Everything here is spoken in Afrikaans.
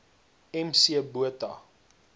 m c botha